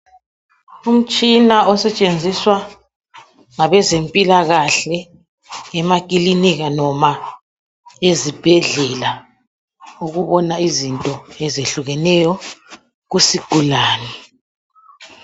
Umtshina osetshenziswa ngabezempilakahle emakilinika noma ezibhedlela ukubona izinto ezehlukeneyo kusigulane